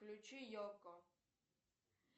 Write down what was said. включи йокко